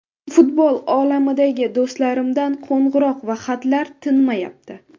Futbol olamidagi do‘stlarimdan qo‘ng‘iroq va xatlar tinmayapti.